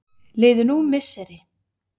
Liðu nú misseri.